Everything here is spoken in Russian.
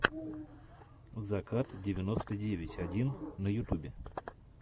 закат девяносто девять один на ютубе